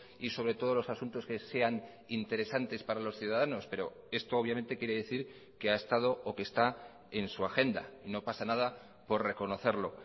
y sobre todos los asuntos que sean interesantes para los ciudadanos pero esto obviamente quiere decir que ha estado o que está en su agenda no pasa nada por reconocerlo